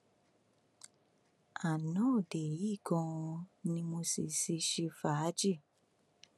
ana òde yìí ganan mo sì sì ṣe fàájì